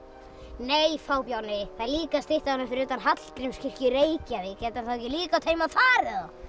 nei fábjáni það er líka stytta af honum fyrir utan Hallgrímskirkju í Reykjavík getur hann þá ekki líka hafa átt heima þar